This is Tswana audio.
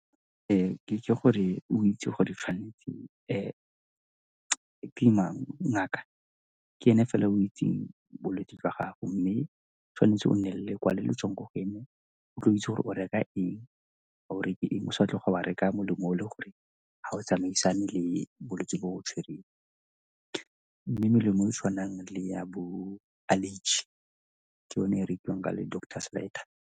Ke itse gore o itse gore gantsi ke mang, ngaka ke ene fela o itseng bolwetsi jwa gago mme tshwanetse o nne lekwalo le le tswang kwa go ene o itse gore o reka eng, ga o reke eng, o sa tloga wa reka molemo o le gore ga o tsamaisane le bolwetsi bo o tshwereng. Mme melemo e e tshwanang le ya bo allergy ke yone e rekiwang ka le doctor's letter.